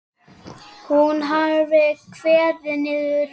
Hún hafi kveðið niður raddir um að bjóða verkið út.